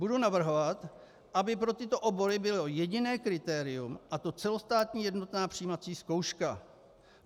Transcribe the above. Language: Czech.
Budu navrhovat, aby pro tyto obory bylo jediné kritérium, a to celostátní jednotná přijímací zkouška.